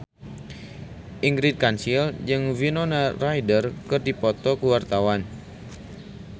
Ingrid Kansil jeung Winona Ryder keur dipoto ku wartawan